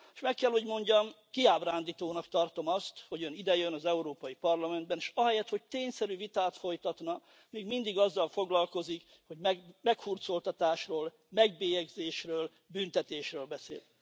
Meg kell, hogy mondjam, kiábrándítónak tartom azt, hogy Ön idejön az Európai Parlamentbe, és ahelyett, hogy tényszerű vitát folytatna, még mindig azzal foglalkozik, hogy meghurcoltatásról, megbélyegzésről, büntetésről beszél.